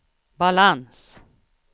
balans